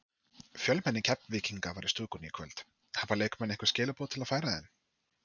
Fjölmenni Keflvíkinga var í stúkunni í kvöld, hafa leikmenn einhver skilaboð að færa þeim?